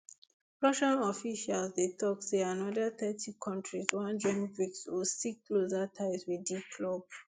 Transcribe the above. russian officials dey tok say anoda thirty kontris wan join brics or seek closer ties wit di club